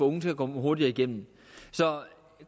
unge til at komme hurtigere igennem så